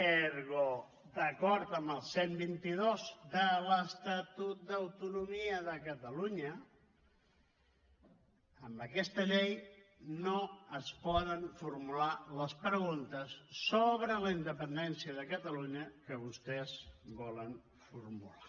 ergo d’acord amb el cent i vint dos de l’estatut d’autonomia de catalunya amb aquesta llei no es poden formular les preguntes sobre la independència de catalunya que vostès volen formular